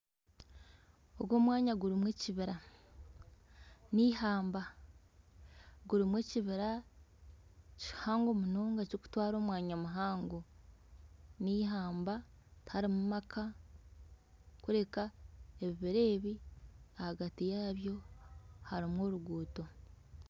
Ogu omwanya gurimu ekibira neihamba ,gurimu ekibira kihango munonga kirikutwara omwanya muhango neihamba tiharimu maka kureka ebibira ebi ahagati yabyo harimu oruguuto